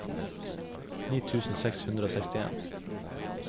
ni tusen seks hundre og sekstien